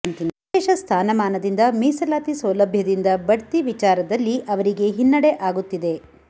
ವಿಶೇಷ ಸ್ಥಾನಮಾನದಿಂದ ಮೀಸಲಾತಿ ಸೌಲಭ್ಯದಿಂದ ಬಡ್ತಿ ವಿಚಾರದಲ್ಲಿ ಅವರಿಗೆ ಹಿನ್ನಡೆ ಆಗುತ್ತಿದೆ